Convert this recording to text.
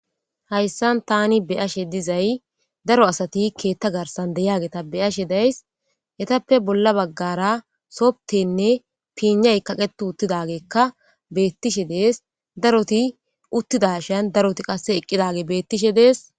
Hayssan tani be ashe dizay daro asati keetta garsan deyageta beyashe days etappe bolla baggara sobtenne piinay kaqetu uttidageekka beettishe dees daroti uttidashan daroti qasse eqqidage beettishe dees.